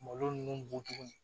Malo ninnu botogo ye